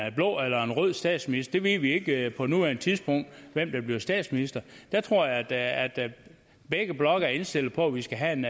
en blå eller en rød statsminister vi ved ikke på nuværende tidspunkt hvem der bliver statsminister jeg tror at begge blokke er indstillet på at vi skal have en